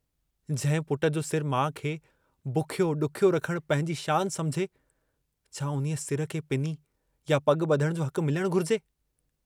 जंहिं पुट जो सिरु माउ खे बुखियो ॾुखियो रखण पंहिंजी शान समुझे छा उन्हीअ सिर खे पिनी या पॻु ॿधण जो हक़ु मिलणु घुरिजे?